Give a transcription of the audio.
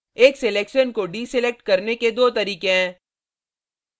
एक selection को deselecting करने के दो तरीके हैं